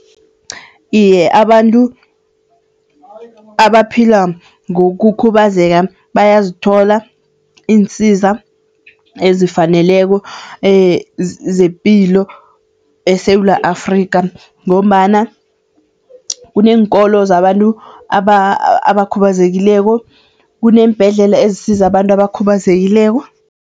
Iye abantu, abaphila ngokukhubazeka bayazithola iinsiza ezifaneleko zepilo eSewula Afrikha ngombana kuneenkolo zabantu abakhubazekileko, kuneembhedlela ezisiza abantu abakhubazekileko.